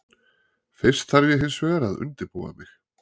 Fyrst þarf ég hinsvegar að undirbúa mig.